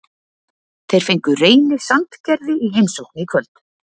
Þeir fengu Reyni Sandgerði í heimsókn í kvöld.